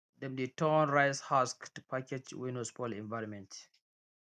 dem dey turn rice husk to package wey no spoil environment